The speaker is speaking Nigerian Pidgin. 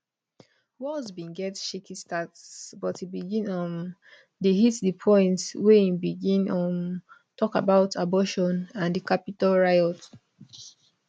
walz bin get shaky start but e begin um dey hit di point wen e begin um tok about abortion and di capitol riot